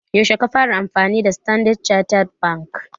Yaushe ka fara amfani da standard chattered bank?